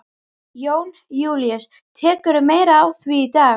Jón Júlíus: Tekurðu meira á því í dag?